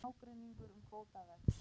Ágreiningur um kvóta vex